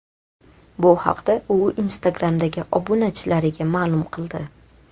Bu haqda u Instagram’dagi obunachilariga ma’lum qildi .